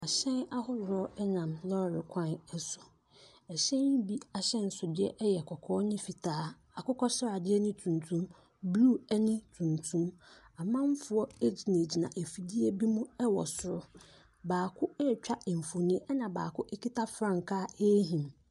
Ahyɛn ahodoɔ nam lɔɔre kwan so. Ɛhyɛn yi bi ahyɛnsodeɛ yɛ kɔkɔɔ ne fitaa, akokɔ sradeɛ ne tuntum, blue ne tuntum. Amanfoɔ gyinagyina afidie bi mu wɔ soro. Baako retwa mfonin, ɛna baako kita frankaa rehim.